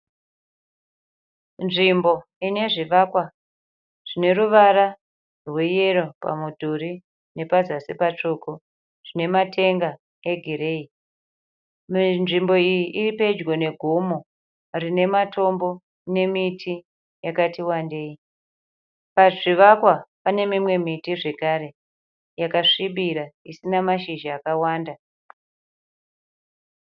Nzvimbo inezvikwa zvineruvara rweyero pamudhuri nepazasi patsvuku. Zvinematenga egireyi. Nzvimbo iyi iripedyo negomo rinematombo nemiti yakati wandei. Pazvivakwa panemimwe miti zvekare yakasvibira isina mashizha akawanda.